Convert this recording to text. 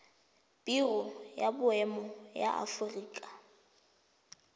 biro ya boemo ya aforika